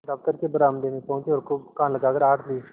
दफ्तर के बरामदे में पहुँचे और खूब कान लगाकर आहट ली